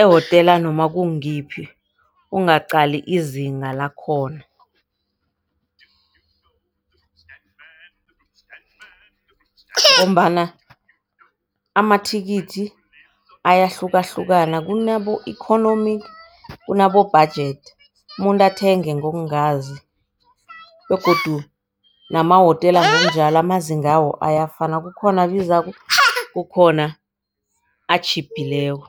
emahotela nomakungiyiphi ungaqali izinga lakhona. Ngombana amathikithi ayahlukahlukana kunabo-economic, kunabo-budget. Umuntu athenge ngokungazi, begodu namahotela ngokunjalo amazingawo ayafana kukhona abizako, kukhona atjhiphileko.